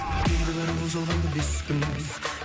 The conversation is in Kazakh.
мен кінәлі бұл жалғанда бес күн